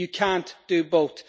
You cannot do both.